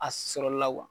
A sɔrɔli la